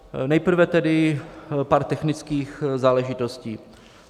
Nejprve tedy pár technických záležitostí.